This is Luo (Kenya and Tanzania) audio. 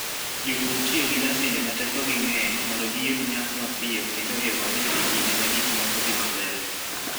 Jopur tiyo gi masinde ma tekogi ng'eny mondo giyud nyak mapiyo kendo e yo maber e kinde ma gik moko dhi maber.